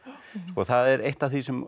það er eitt af því sem